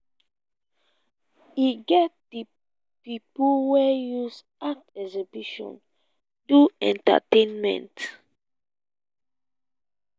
e get di pipo wey dey use art exhibition do entertainment